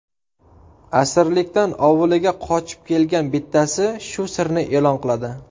Asirlikdan ovuliga qochib kelgan bittasi shu sirni e’lon qiladi.